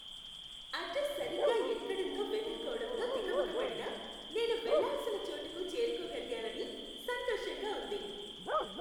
Address సరిగ్గా ఎక్కడుందో వెతుక్కోవడంలో తికమకబడినా, నేను వెళ్ళాల్సిన చోటుకు చేరుకోగలిగానని సంతోషంగా ఉంది.